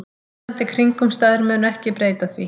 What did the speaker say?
Núverandi kringumstæður munu ekki breyta því